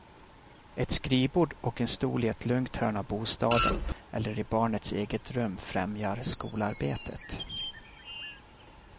Ett skrivbord och en stol i ett lugnt hörn av bostaden eller i barnets eget rum främjar skolarbetet.